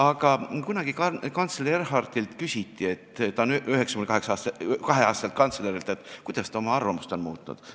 Aga kunagi kantsler Konrad Adenauerilt küsiti, ta oli siis peaaegu 90-aastane, kuidas ta oma arvamusi on muutnud.